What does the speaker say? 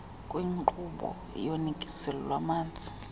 kwinkqubo yonikezelo lwamanzi